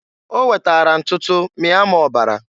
O wetara ntutu mịa m ọbara.